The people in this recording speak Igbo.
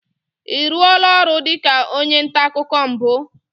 Ị rụọla ọrụ dịka onye nta akụkọ mbụ?